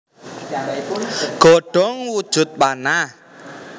Godhong wujud panah